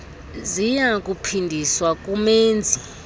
ziya kuphindiswa kumenzi